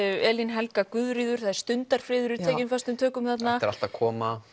Elín Helga Guðríður Stundarfriður er tekinn föstum tökum þarna þetta er allt að koma